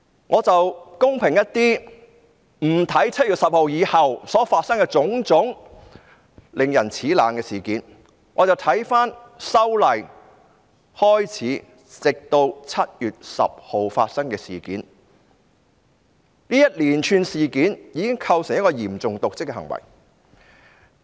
我會公平一點，不看7月10日後所發生的種種令人齒冷的事件，只看由修例開始直至7月10日發生的事件，這一連串事件已構成嚴重瀆職行為。